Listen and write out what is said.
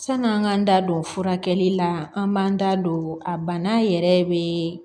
San'an k'an da don furakɛli la an b'an da don a bana yɛrɛ bɛ